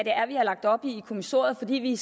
er vi har lagt op i kommissoriet fordi vi